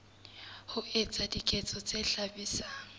ho etsa diketso tse hlabisang